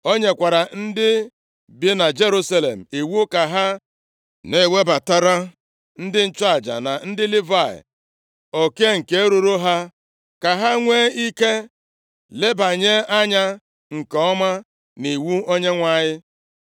O nyekwara ndị bi na Jerusalem iwu ka ha na-ewebatara ndị nchụaja na ndị Livayị oke nke ruuru ha, ka ha nwee ike lebanye anya nke ọma nʼiwu Onyenwe anyị.